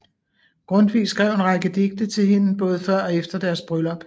Grundtvig skrev en række digte til hende både før og efter deres bryllup